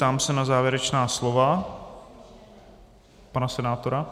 Ptám se na závěrečná slova - pana senátora?